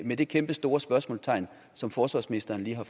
med det kæmpestore spørgsmålstegn som forsvarsministeren lige har